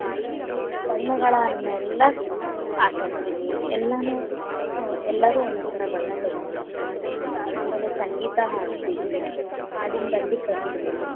ಬಣ್ಣಗಳನ್ನೆಲ್ಲ ಆಟಾಡತೇವಿ, ಎಲ್ಲಾನೂ ಎಲ್ಲರೂ ಒಂದೊಂದ್ ತರ ಬಣ್ಣ ತಗೋಂಡ್ ಬರತೇವಿ, ಆಮೇಲೆ ಸಂಗೀತಾ ಹಾಡತೇವಿ, ಹಾಡಿನ ಬಂಡಿ ಕಟ್ಟತೇವಿ.